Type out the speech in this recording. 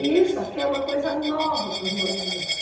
E isso aqui é uma coisa nova para os moradores.